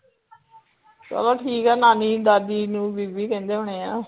ਚਲੋ ਠੀਕ ਆ ਨਾਨੀ ਦਾਦੀ ਨੂੰ ਬੀਬੀ ਕਹਿੰਦੇ ਹੁਣੇ ਆ